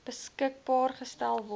beskikbaar gestel word